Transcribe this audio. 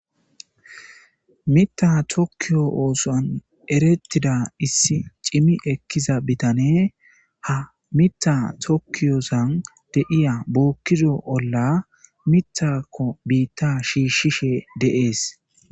Mittiya tokiyo oththuwanni erettizza issi cimmi ekizza bitaneyi haa miththa tokiyosanni de'iya bokkizzo olla miththakko bita shishshishe de'ees.